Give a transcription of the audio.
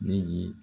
Ne ye